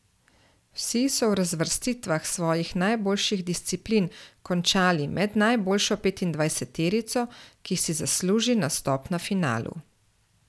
Vsi so v razvrstitvah svojih najboljših disciplin končali med najboljšo petindvajseterico, ki si zasluži nastop na finalu.